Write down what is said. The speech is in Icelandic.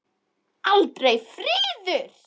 Aldrei friður.